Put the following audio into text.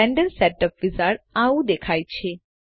Blender setup wizard આવું દેખાય છે